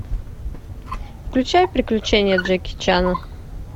включай приключения джеки чана